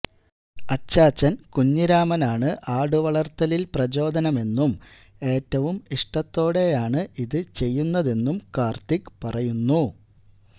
അച്ചാച്ചൻ കുഞ്ഞിരാമനാണ് ആടുവളർത്തലിൽ പ്രചോദനമെന്നും ഏറ്റവും ഇഷ്ടത്തോടെയാണ് ഇത് ചെയ്യുന്നതെന്നും കാർത്തിക് പറയുന്നു